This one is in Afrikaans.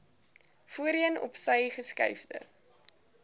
voorheen opsy geskuifde